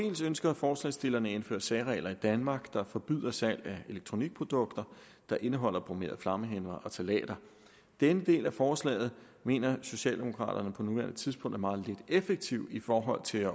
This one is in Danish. ønsker forslagsstillerne at indføre særregler i danmark der forbyder salg af elektronikprodukter der indeholder bromerede flammehæmmere og ftalater denne del af forslaget mener socialdemokraterne på nuværende tidspunkt er meget lidt effektiv i forhold til at